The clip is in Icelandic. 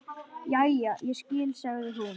Jæja, ég skil, sagði hún.